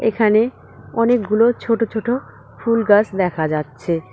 এখানে অনেকগুলো ছোটো ছোটো ফুলগাছ দেখা যাচ্ছে।